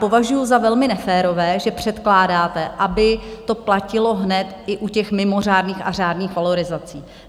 Považuju za velmi neférové, že předkládáte, aby to platilo hned i u těch mimořádných a řádných valorizací.